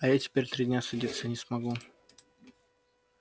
а я теперь три дня садиться не смогу